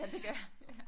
Ja det gør jeg